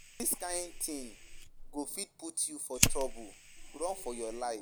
Dis kin thing go fit put you for trouble. Run for your life